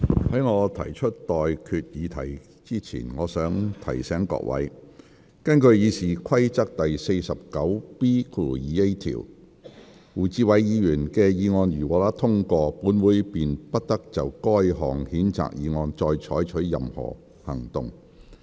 在我提出待決議題之前，我想提醒各位，根據《議事規則》第 49B 條，胡志偉議員的議案如獲得通過，本會便不得就該項譴責議案再採取任何行動。